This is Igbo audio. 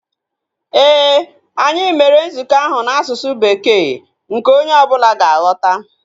Éè, anyị mere nzukọ ahu n'asụsụ Bekee nke onye ọbụla ga-aghọta